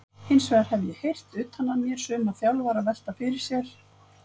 Hinsvegar hef ég heyrt utan að mér suma þjálfara velta fyrir sér?